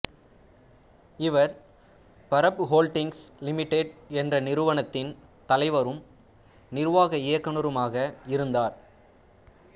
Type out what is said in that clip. இவர் Burrup Holdings Limited என்ற நிறுவனத்தின் தலைவரும் நிர்வாக இயக்குநருமாக இருந்தார்